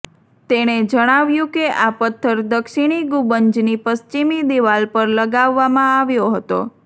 તેણે જણાવ્યું કે આ પથ્થર દક્ષિણી ગુંબજની પશ્ચિમી દિવાલ પર લગાવવામાં આવ્યો હતો